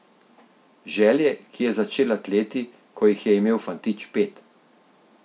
Želje, ki je začela tleti, ko jih je imel fantič pet.